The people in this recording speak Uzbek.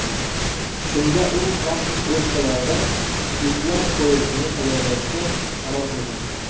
Shunda u plastik bochkalardan itlar poyezdini tayyorlashga qaror qilgan.